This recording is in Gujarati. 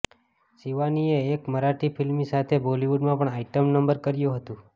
શિવાનીએ એક મરાઠી ફિલ્મની સાથે બોલિવૂડમાં પણ આઇટમ નંબર કર્યું હતું